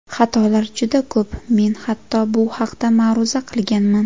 Xatolar juda ko‘p, men hatto bu haqda ma’ruza qilganman.